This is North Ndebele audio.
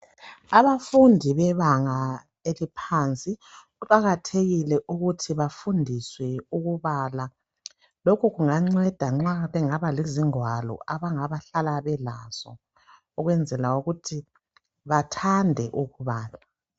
Abafundi bebanga eliphansi kuqakathekile ukuthi bafundiswe ukubala , lokhu kunganceda nxa bengabambi lezingwalo abangabehlala belazo ukwenzela ukuthi bathande ukubala